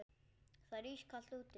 Það er ískalt úti.